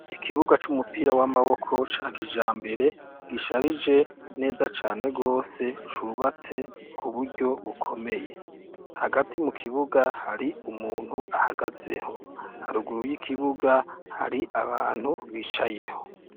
Ikibuja c'umupira w'amaboko ca kijambere gisharije neza cane rwose c'ubatswe kuburyo bukomeye hagati mukibuga hari umuntu ahagazeho, haruguru yikibuga hari abantu bicayeho.